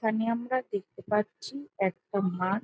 এখানে আমরা দেখতে পাচ্ছি একটা মাঠ।